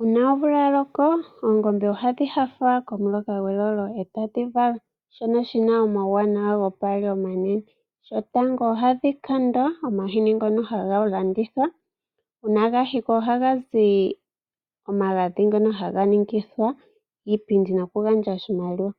Uuna omvula ya loko oongombe ohadhi paluka nawa ndele e tadhi vala. Shono shi na omauwanawa gopaali omanene. Shotango ohadhi kandwa omahini ngono haga ka landithwa. Uuna ga hikwa ohaga zi omagadhi ngono haga tulwa miipindi nokugandja oshimaliwa.